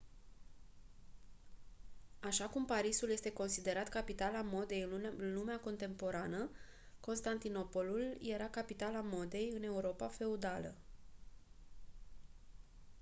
așa cum parisul este considerat capitala modei în lumea contemporană constantinopolul era capitala modei în europa feudală